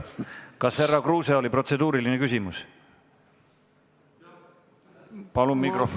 Kas härra Kruusel oli protseduuriline küsimus?